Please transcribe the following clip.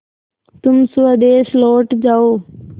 तुम स्वदेश लौट जाओ